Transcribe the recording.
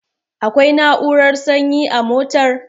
Akwai na'urar sanyi a motar?